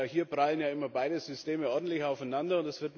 Hier prallen ja immer beide Systeme ordentlich aufeinander.